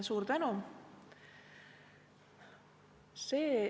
Suur tänu!